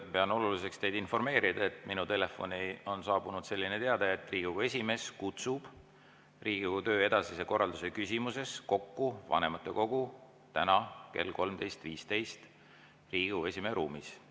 Pean oluliseks teid informeerida, et minu telefoni on saabunud selline teade: Riigikogu esimees kutsub Riigikogu töö edasise korralduse küsimuses kokku vanematekogu täna kell 13.15 Riigikogu esimehe ruumis.